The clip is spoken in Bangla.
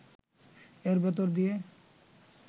এর ভেতর দিয়ে